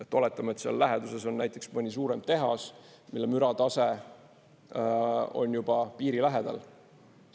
Oletame, et seal läheduses on näiteks mõni suurem tehas, mille müratase on juba piiri lähedal.